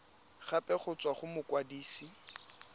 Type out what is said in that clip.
gape go tswa go mokwadise